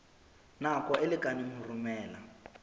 nako e lekaneng ho romela